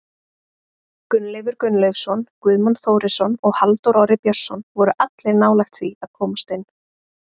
Gunnleifur Gunnleifsson, Guðmann Þórisson og Halldór Orri Björnsson voru allir nálægt því að komast inn.